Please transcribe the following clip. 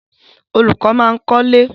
Olùkọ́ máa ń kọ́lé.